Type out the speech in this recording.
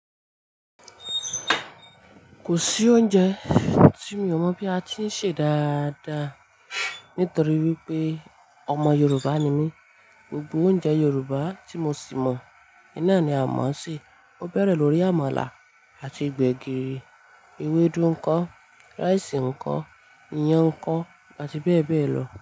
Kò sí oúnjẹ tí mi ò mọ̀ bí a ti ń ṣe dáadáa nítorí wípé ọmọ Yorùbá ni mí. Gbogbo oúnjẹ Yorùbá tí mo sì mọ̀, iná ni a mọ̀ ọ́ ṣe. Ó bẹ̀rẹ̀ lórí àmàlà àti gbẹ̀gìrì, ewédú ńko, rice ńko, iyán ńko àti bẹ́ẹ̀ bẹ́ẹ̀ lọ.